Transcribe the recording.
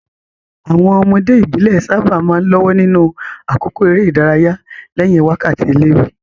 Àwọn ọmọdé ìbílẹ̀ sábà máa ń lọ́wọ́ nínú àkókò eré ìdárayá lẹ́yìn wákàtí ilé-ìwé.